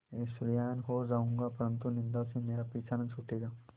ऐश्वर्यवान् हो जाऊँगा परन्तु निन्दा से मेरा पीछा न छूटेगा